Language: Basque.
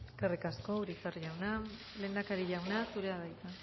eskerrik asko eskerrik asko urizar jauna lehendakari jauna zurea da hitza